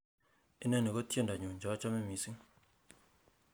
inoni ko tiendonyun cheochome missing